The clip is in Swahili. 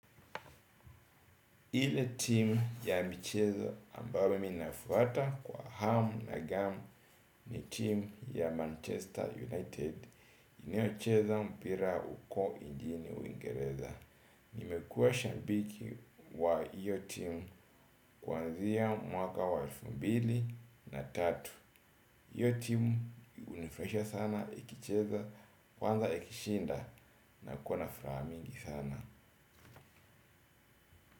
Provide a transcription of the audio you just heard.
Ile team ya michezo ambayo mimi ninafuata kwa hamu na gamu ni team ya Manchester United. Inayocheza mpira uko injini Uingereza. Nimekuwa shabiki wa hiyo team kwanzia mwaka wa elfu mbili na tatu. Iyo team hunifurahisha sana ikicheza kwanza ikishinda nakuwa na furaha mingi sana.